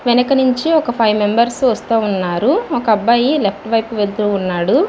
వేనుక నుంచి ఒక five members వస్తావున్నారు ఒక అబ్బాయి లెఫ్ట్ వైపు వేలుతు ఉన్నాడు.